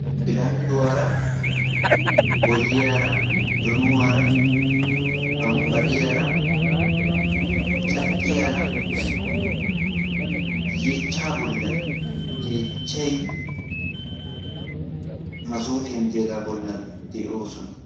Bilandduwaara, boyiyaara, donuwaara, bambbariyaara, cadhdhiyaara yeechchaa bollan yeechchay masoofiyan de"iyaagaa bollan de7oosona.